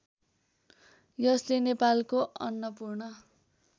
यसले नेपालको अन्नपूर्ण